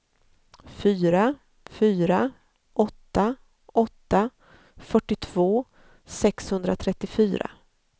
fyra fyra åtta åtta fyrtiotvå sexhundratrettiofyra